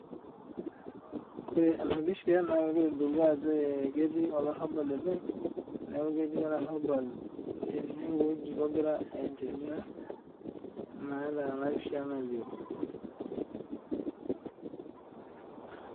Ore ena pisha naa kegira aitodolu Ajo ketii olarrabal ene neeku ketii olarrabal enewueji ogira aendelea naa Tena pisha nalio